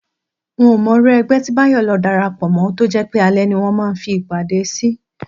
N ò mo̩ irú e̩gbé̩ tí Báyò̩ lo̩ darapò̩ mó̩ tó jé̩ pé alé̩ ni wó̩n ń fi ìpàdé sí